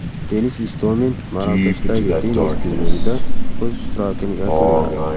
Denis Istomin Marokashdagi tennis turnirida o‘z ishtirokini yakunladi.